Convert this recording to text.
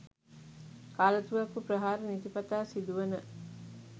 කාලතුවක්කු ප්‍රහාර නිතිපතා සිදුවන